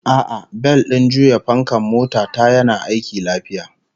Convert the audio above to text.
A'a, bel din juya fankan mota ta yana aiki lafiya